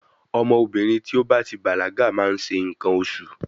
Ọmọbìnrin tí ó bá ti bàlágà máa ń ṣe nǹkan oṣù.